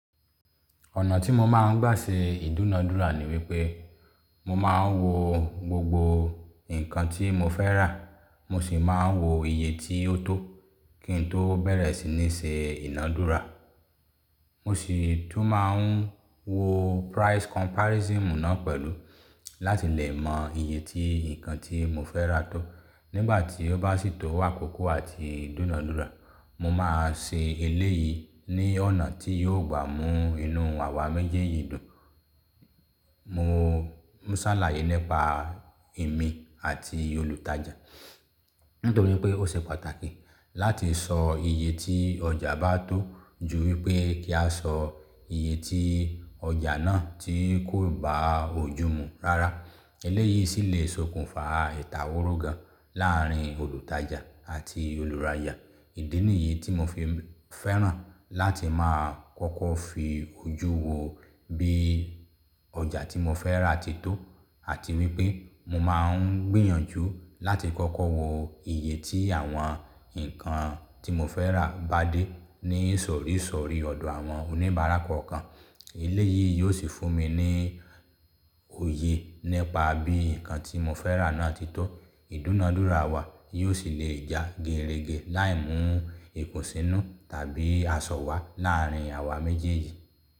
Ọ̀nà tí mo máa ń gbà ṣe ìdúnadúrà ni wípé mo máa ń wo gbogbo nǹkan tí mo fẹ́ rà, mo sì máa ń wo iye tí ó tó kí n tó bẹ̀rẹ̀ sí ní ṣe ìnadúrà. Mo sì tún máa ń wo price comparison náà pẹ̀lú láti lè mọ iye ti nǹkan tí mo fẹ́ rà tó. Nígbà tí ó bá sì tó akókó àti ì dúnadúrà, mo máa ṣe eléyìí ní ọ̀nà tí yóò gbà mú inú àwa méjèèjì dùn. Un sàlàyé nípa èmi àti olùtajà. Nítorí pé ó ṣe pàtàkì láti sọ iye tí ọjà bá tó ju wípé kí a sọ iye tí ọjà náà tí kò bá òjùmu. Rárá, eléyìí sì le sokùnfa ìtàworó gan láàárín olùtajà àti olùrajà. Ìdí nìyí tí mo fi fẹ́ràn láti máa kọ́kọ́ fi ojú wo bí ọjà tí mo fẹ́ rà ti tó àti wípé mo máa ń gbìyànjú láti kọ́kọ́ wo iye tí àwọn nǹkan tí mo fẹ́ rà bá dé ní isọ̀ri isori ọ̀dọ̀ àwọn oníbárà kọ̀ọ̀kan. Eléyìí yóò sì fún mi ní òye nípa bí nǹkan tí mo fẹ́ rà náà ti tó. Ìdúnadúrà wa yóò sì le ja geerege láì mú ikùnsínú tàbí aṣọwá láàárín àwa méjèèjì.